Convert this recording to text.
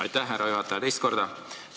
Aitäh, härra juhataja, teist korda!